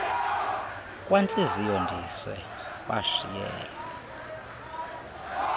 kwantliziyo ndise washiyela